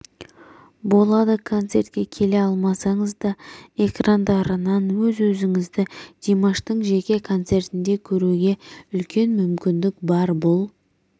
болады концертке келе алмасаңыз да экрандарынан өз-өзіңізді димаштың жеке концертінде көруге үлкен мүмкіндік бар бұл